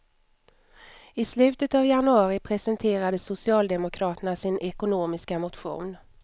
I slutet av januari presenterade socialdemokraterna sin ekonomiska motion.